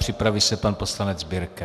Připraví se pan poslanec Birke.